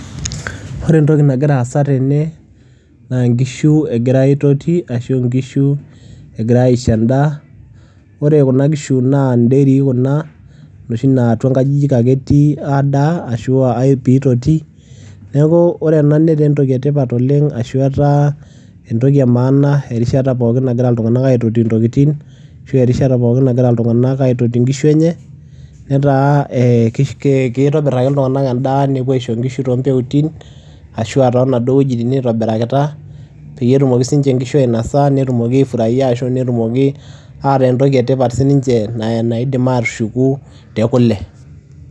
Ore entoki nagira aasa tene naa enkishu egirai aitoti ashu nkishu egirai aisho endaa ore kuna kishu naa ndairy kuna inoshi naa atua nkajijik ake etii aadaa ashu aa piitotii neeku ore ena netaa netoki etipat oleng' ashu etaa entoki e maana erishata pookin nagira iltung'anak aitoti ntokitin ashu erishata nagira iltung'anak aitoti nkishu enye netaa keitobirr ake iltung'anak endaa nepuo aisho nkishu toompeutin ashu aa toonaduo wuejitin naitobirakita peyie etumoki siinche nkishu ainosa netumoki aifuaraia ashu netumoki aataa entoki etipata sininche naidim aatushuku te kule.